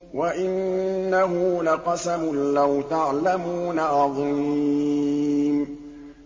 وَإِنَّهُ لَقَسَمٌ لَّوْ تَعْلَمُونَ عَظِيمٌ